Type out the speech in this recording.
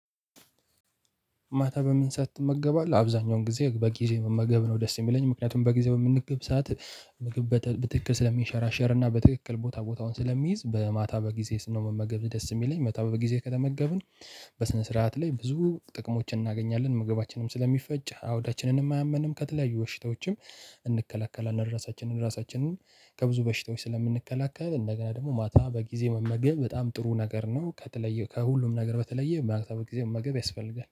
ማታ በምን ሰዓት ትመገባለህ? አብዛኛውን ጊዜ በጊዜ መመገብ ነው ደስ የሚለኝ ምክንያቱም በጊዜ በምመገብ ሰዓት ምግብ በትክክል ስለሚሸራሸርና በትክክል ቦታ ቦታውን ስለሚይዝ ማታ በጊዜ ስመገብ ደስ የሚለኝ ማታ በጊዜ ከተመገብን በስነ ስርዓት ላይ ብዙ ጥቅሞችን እናገኛለን መገባችንም ስለሚፈጭ አውዳችንንም አያመንም ከተለያዩ በሽታዎችም እንከለከላለን። ራሳችንን ራሳችንን ከብዙ በሽታዎች ስለምንከላከል እንደገና ደግሞ ማታ በጊዜ መመገብ በጣም ጥሩ ነገር ነው ከተለየ ከሁሉም ነገር በተለየ ማታ በጊዜ መመገብ ያስፈልጋል።